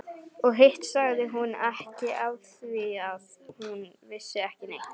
Og hitt sagði hún ekki afþvíað hún vissi ekki neitt.